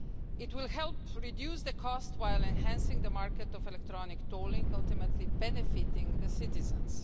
It will help reduce the cost while enhancing the market in electronic tolling, ultimately benefiting citizens.